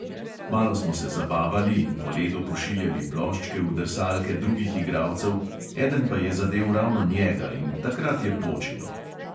Malo smo se zabavali in po ledu pošiljali ploščke v drsalke drugih igralcev, eden pa je zadel ravno njega in takrat je počilo.